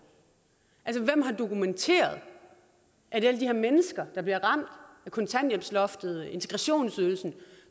er altså hvem har dokumenteret at alle de her mennesker der bliver ramt af kontanthjælpsloftet integrationsydelsen